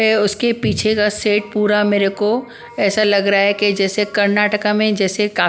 उसके पीछे का सेट पूरा मेरेको ऐसा लग रहा है कि जैसे कर्नाटका में जैसे का --